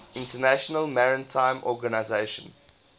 international maritime organization